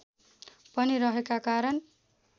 पनि रहेका कारण